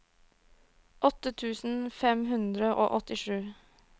åtte tusen fem hundre og åttisju